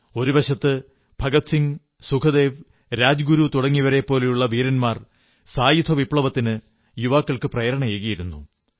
ഒരു വശത്ത് ഭഗത് സിംഗ് സുഖ്ദേവ് രാജ്ഗുരു തുടങ്ങിയവരെപ്പോലുള്ള വീരന്മാർ സായുധ വിപ്ലവത്തിന് യുവാക്കൾക്കു പ്രേരണയേകിയിരുന്നു